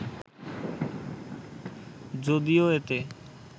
যদিও এতে